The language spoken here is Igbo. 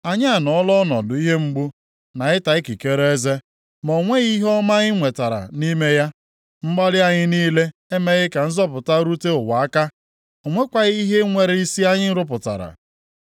Anyị anọọla ọnọdụ ihe mgbu, na ịta ikikere eze, ma o nweghị ihe ọma anyị nwetara nʼime ya. Mgbalị anyị niile emeghị ka nzọpụta rute ụwa aka. O nwekwaghị ihe nwere isi anyị rụpụtara.